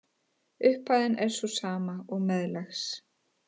Upphæðin er sú sama og meðlags